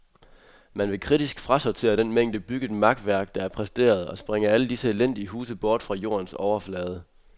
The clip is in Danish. Man vil kritisk frasortere den mængde bygget makværk, der er præsteret, og sprænge alle disse elendige huse bort fra jordens overflade.